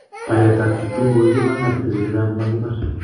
Baret ab Kiptum kogigibangan betusiek chechang komakibar